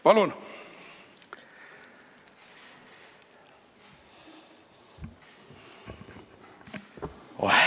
Tervist!